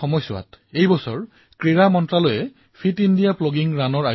এই কাৰ্যসূচী কিদৰে কৰিব লাগে কাৰ্যসূচীত কি হয় সেয়া আমি ৰিপুদমন জীৰ অভিজ্ঞতাৰ পৰা শুনিলো